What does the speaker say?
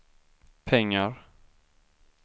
pengar